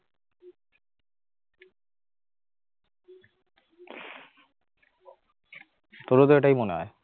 তোর ও তো এটাই মনে হয়?